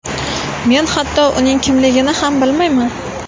Men hatto uning kimligini ham bilmayman”.